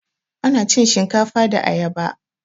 Ana cin shinkafa da ayaba